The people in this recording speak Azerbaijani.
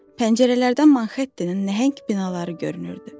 Pəncərələrdən Manhettenin nəhəng binaları görünürdü.